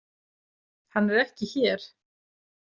Hann er ekki hér.